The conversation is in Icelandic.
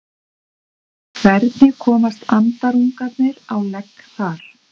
Hvernig komast andarungarnir á legg þar?